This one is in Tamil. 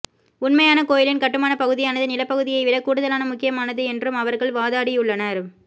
உண்மையான கோயிலின் கட்டுமானப் பகுதியானது நிலப்பகுதியைவிடக் கூடுதலான முக்கியமானது என்றும் அவர்கள் வாதாடியுள்ளனர்